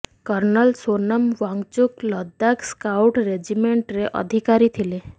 kernel Sonam Wangchuk Ladakh scout ରେଜିମେଣ୍ଟରେ ଅଧିକାରୀ ଥିଲେ